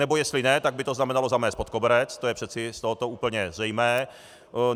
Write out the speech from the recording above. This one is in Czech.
Anebo jestli ne, tak by to znamenalo zamést pod koberec, to je přeci z tohoto úplně zřejmé.